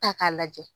Ta k'a lajɛ